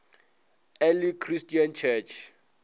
early christian church